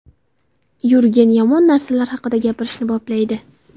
Yurgen yomon narsalar haqida gapirishni boplaydi.